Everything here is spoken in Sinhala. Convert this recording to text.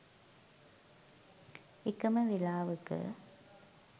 එකම වේලාවක